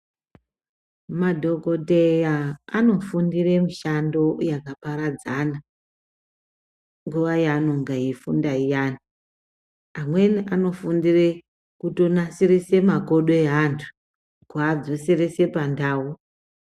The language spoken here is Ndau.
Madhokodheya anofundire mishando yakaparadzana, nguva yavanonge veyifunda iyana, amweni anofundire kutonasirise makodo eantu, kuadzoserese pandau.